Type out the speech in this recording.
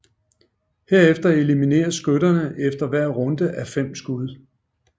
Herefter elimineres skytterne efter hver runde á fem skud